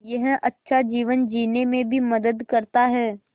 यह अच्छा जीवन जीने में भी मदद करता है